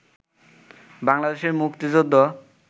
বাংলাদেশের মুক্তিযুদ্ধ